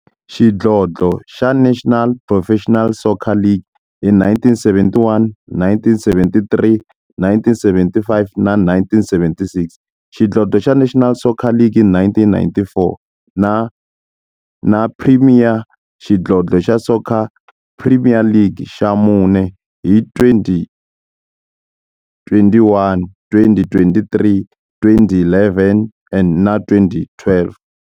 Xidlodlo xa National Professional Soccer League hi 1971, 1973, 1975 na 1976, xidlodlo xa National Soccer League hi 1994, na Premier Xidlodlo xa Soccer League ka mune, hi 2001, 2003, 2011 na 2012.